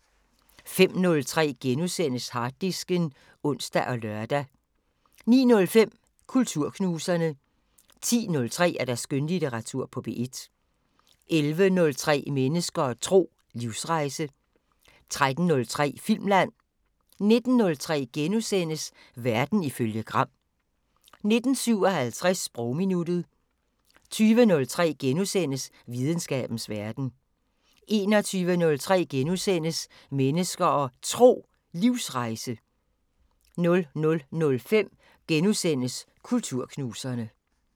05:03: Harddisken *(ons og lør) 09:05: Kulturknuserne 10:03: Skønlitteratur på P1 11:03: Mennesker og Tro: Livsrejse 13:03: Filmland 19:03: Verden ifølge Gram * 19:57: Sprogminuttet 20:03: Videnskabens Verden * 21:03: Mennesker og Tro: Livsrejse * 00:05: Kulturknuserne *